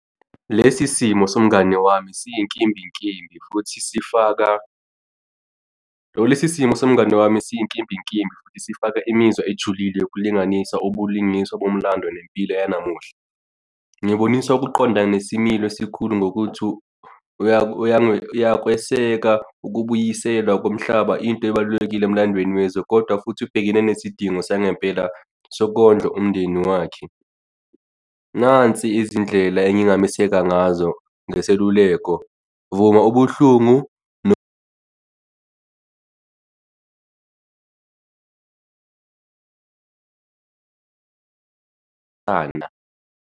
Lesi simo somngani wami siyinkimbinkimbi futhi sifaka, lesi simo somngani wami siyinkimbinkimbi futhi sifaka imizwa ejulile yokulinganisa ubulingiswa bomlando nempilo yanamuhla. Ngiboniswa ukuqonda nesimilo esikhulu ngokuthi uyakweseka ukubuyiselwa komhlaba into ebalulekile emlandweni wezwe kodwa futhi ubhekene nesidingo sangempela sokondla umndeni wakhe. Nansi izindlela engingameseka ngazo ngeseluleko, vuma ubuhlungu fana.